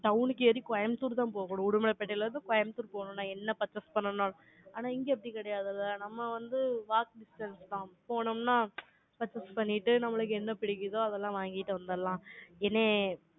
town க்கு ஏறி கோயம்புத்தூர்தான் போகனும். உடுமலைப்பேட்டையில இருந்து, கோயம்புத்தூர் போகணும். நான் என்ன purchase பண்ணனால்? ஆனா, இங்க அப்படி கிடையாதுல்ல? நம்ம வந்து, walkable distance தா போனோம்னா, purchase பண்ணிட்டு, நம்மளுக்கு என்ன பிடிக்குதோ, அதெல்லாம் வாங்கிட்டு வந்துடலாம். என்னைய